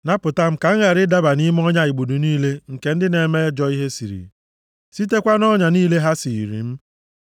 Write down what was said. Napụta m ka m ghara ịdaba nʼime ọnya igbudu niile nke ndị na-eme ajọ ihe siiri, sitekwa nʼọnya niile ha siiri m.